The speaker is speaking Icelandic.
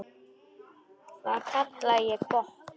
Það kalla ég gott.